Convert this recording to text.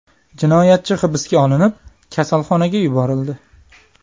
Jinoyatchi hibsga olinib, kasalxonaga yuborildi.